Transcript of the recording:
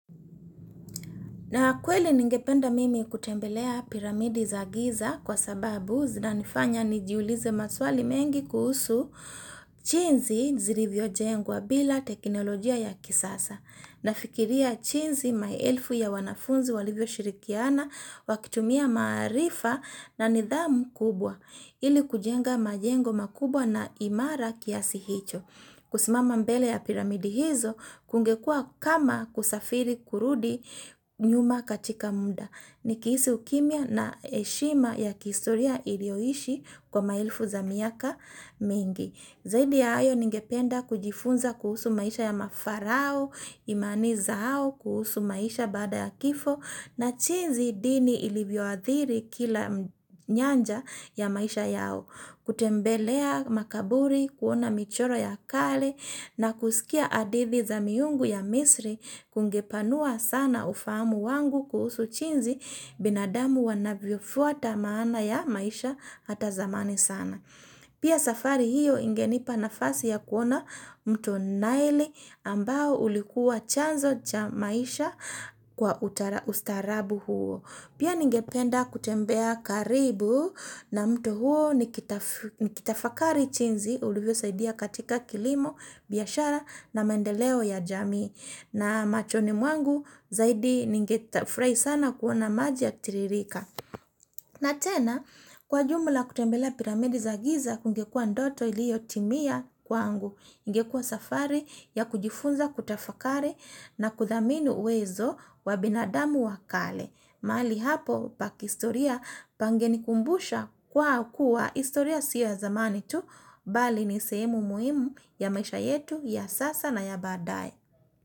Na kweli ningependa mimi kutembelea piramidi za giza kwa sababu zinanifanya nijiulize maswali mengi kuhusu jinsi zilivyojengwa bila teknolojia ya kisasa. Nafikiria jinsi maelfu ya wanafunzi walivyoshirikiana wakitumia maarifa na nidhamu kubwa ili kujenga majengo makubwa na imara kiasi hicho. Kusimama mbele ya piramidi hizo, kungekuwa kama kusafiri kurudi nyuma katika muda. Nikihisi ukimya na heshima ya kihistoria iliyoishi kwa maelfu za miaka mingi. Zaidi ya hayo ningependa kujifunza kuhusu maisha ya mafarao, imani zao kuhusu maisha baada ya kifo, na jinsi dhini ilivyoadhiri kila nyanja ya maisha yao. Kutembelea makaburi kuona michoro ya kale na kusikia hadithi za miungu ya misri kungepanua sana ufahamu wangu kuhusu jinsi binadamu wanavyofuata maana ya maisha ata zamani sana. Pia safari hiyo ingenipa nafasi ya kuona mto nile ambao ulikuwa chanzo cha maisha kwa ustarabu huo. Pia ningependa kutembea karibu na mto huo nikitafakari jinsi ulivyo saidia katika kilimo, biashara na mendeleo ya jamii. Na machoni mwangu zaidi ningefurahi sana kuona maji yakitiririka. Na tena, kwa ujumla kutembele piramidi za giza kungekua ndoto iliyotimia kwangu, ingekua safari ya kujifunza kutafakari na kuthamini uwezo wa binadamu wa kale. Mahali hapo pa kihistoria pangenikumbusha kwa kuwa historia si ya zamani tu, bali ni sehemu muhimu ya maisha yetu ya sasa na ya badae.